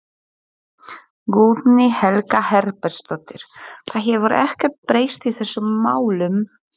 Guðný Helga Herbertsdóttir: Það hefur ekkert breyst í þessum málum?